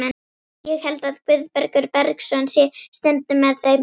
Ég held að Guðbergur Bergsson sé stundum með þeim.